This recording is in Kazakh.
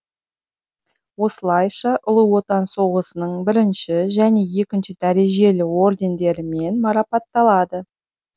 осылайша ұлы отан соғысының бірінші және екінші дәрежелі ордендерімен марапатталады